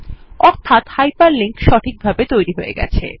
অর্থাৎ hyperlink সঠিকভাবে তৈরী হয়ে গেছে